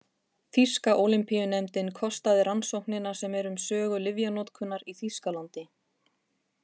Þýska Ólympíunefndin kostaði rannsóknina sem er um sögu lyfjanotkunar í Þýskalandi.